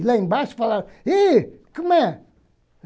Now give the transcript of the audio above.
E lá embaixo falaram, e como é?